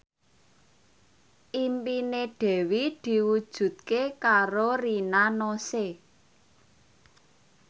impine Dewi diwujudke karo Rina Nose